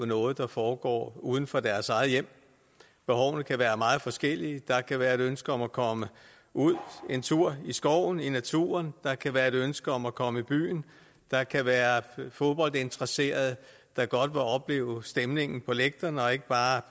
noget der foregår uden for deres eget hjem behovene kan være meget forskellige der kan være et ønske om at komme ud en tur i skoven i naturen der kan være et ønske om at komme i byen der kan være fodboldinteresserede der godt vil opleve stemningen på lægterne og ikke bare